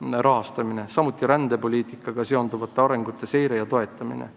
samuti on eesmärk rändepoliitikaga seonduvate arengute seire ja toetamine.